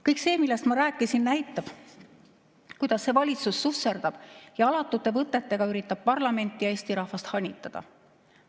Kõik see, millest ma rääkisin, näitab, kuidas see valitsus susserdab ja alatute võtetega üritab parlamenti ja Eesti rahvast hanitada.